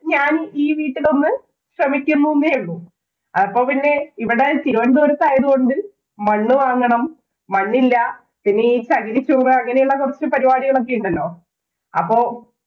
ഞാന്‍ ഈ വീട്ടിലൊന്നു ശ്രമിക്കുന്നൂന്നെ ഉള്ളൂ. അപ്പൊ പിന്നെ ഇവിടെ തിരുവനന്തപുരത്ത് ആയതു കൊണ്ട് മണ്ണ് വാങ്ങണം, മണ്ണില്ല, പിന്നെ ഈ ചകിരി ചോറ് അങ്ങനെയുള്ള കൊറച്ച് പരിപാടികളൊക്കെയുണ്ടല്ലോ.